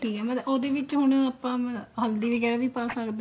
ਠੀਕ ਏ ਮਤਲਬ ਉਹਦੇ ਵਿੱਚ ਹੁਣ ਆਪਾਂ ਮਤਲਬ ਹਲਦੀ ਵਗੈਰਾ ਵੀ ਪਾ ਸਕਦੇ ਆ